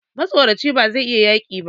Matsoraci bazai iya yaƙi ba